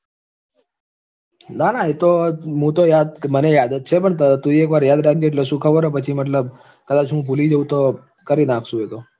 ના ના એ તો મુ તો યાદ મને યાદ જ છે પણ તું ય એકવાર યાદ રાખજે એટલે શું ખબર છે પછી મતલબ કદાચ હું ભૂલી જાઉં તો કરી નાખશું એ તો